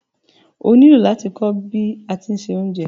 Ọ ní ilò lati kọ̀ bí àti n ṣẹ ọ̀unjẹ